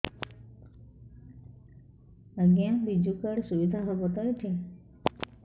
ଆଜ୍ଞା ବିଜୁ କାର୍ଡ ସୁବିଧା ହବ ତ ଏଠି